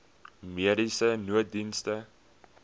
mediese nooddienste